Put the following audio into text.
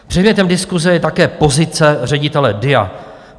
Předmětem diskuse je také pozice ředitele DIA.